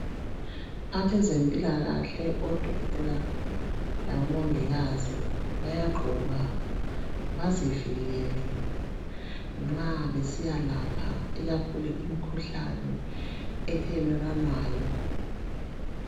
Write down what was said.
abezempilakahle odokotela labo mongikazi bayagqoka bezivikele nxa besiyalapha ikakhulu imkhuhlane ethelelwanayo